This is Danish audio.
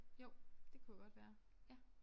Jo det kunne godt være ja